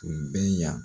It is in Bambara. Tun bɛ yan